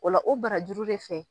Ola o barajuru de fɛ.